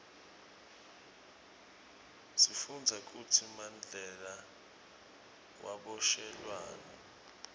sifundza kutsi mandela waboshelwani